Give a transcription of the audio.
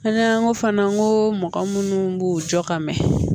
An y'an ko fana n ko mɔgɔ munnu b'u jɔ ka mɛn